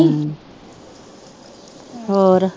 ਹੋਰ